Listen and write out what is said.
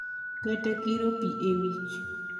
Kata kiro pi e wich.